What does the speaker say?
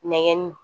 Nɛgɛnni